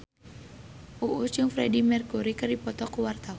Uus jeung Freedie Mercury keur dipoto ku wartawan